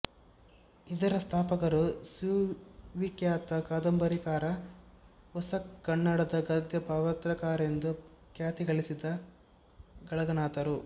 ಇದರ ಸ್ಥಾಪಕರು ಸುವಿಖ್ಯಾತ ಕಾದಂಬರಿಕಾರ ಹೊಸಗನ್ನಡದ ಗದ್ಯ ಪ್ರವರ್ತ ಕರೆಂದು ಖ್ಯಾತಿಗಳಿಸಿದ ಗಳಗನಾಥರು